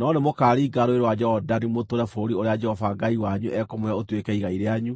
No nĩmũkaringa Rũũĩ rwa Jorodani mũtũũre bũrũri ũrĩa Jehova Ngai wanyu ekũmũhe ũtuĩke igai rĩanyu,